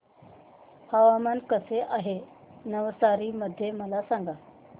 हवामान कसे आहे नवसारी मध्ये मला सांगा